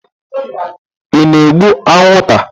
Ị na-egbu anwụnta?